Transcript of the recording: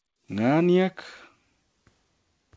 Ng'aniek